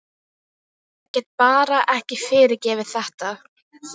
Ég get bara ekki fyrirgefið þetta.